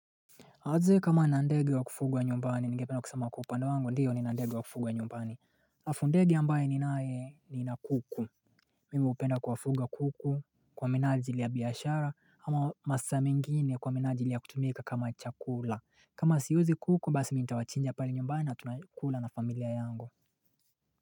Na je, kama nina ndege wa kufugwa nyumbani, ningependa kusema kwa upande wangu, ndio nina ndege wa kufugwa nyumbani. Alafu ndege ambaye ninae nina kuku. Mimi hupenda kuwafuga kuku, kwa minanjili ya biashara ama masaa mengine kwa minanjili ya kutumika kama chakula. Kama siuzi kuku, basi mimi nitawachinja pale nyumbani na tunakula na familia yangu.